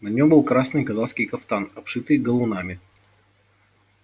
на нём был красный казацкий кафтан обшитый галунами